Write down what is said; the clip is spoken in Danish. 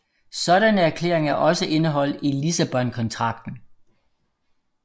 Sådanne erklæringer er også indeholdt i Lissabontraktaten